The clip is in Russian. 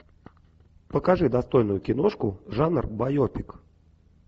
покажи достойную киношку жанр байопик